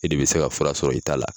E de bɛ se ka fura sɔrɔ i ta la.